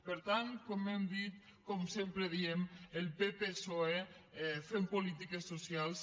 per tant com hem dit com sempre diem el pppsoe fent polítiques socials